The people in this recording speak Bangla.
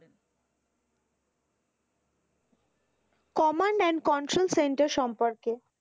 কমান্ড এন্ড কন্ট্রোল সেন্টার সম্পর্কে,